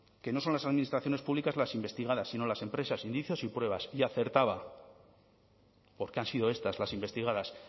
que no son las administraciones públicas las investigadas sino las empresas indicios y pruebas y acertaba porque han sido estas las investigadas